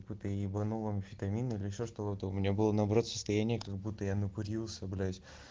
ебанул амфетамин или ещё что-то у меня было наоборот состояние как будто я накурился блять